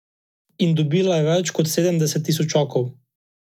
In dobila je več kot sedemdeset tisočakov.